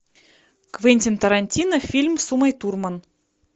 квентин тарантино фильм с умой турман